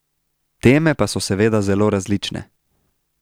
Teme pa so seveda zelo različne.